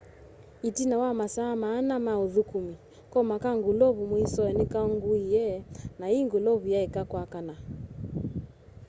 itina wa masaa maana ma uthukumi koma ka ngulovu mwisowe nikaunguie na i ngulovu yaeka kwakana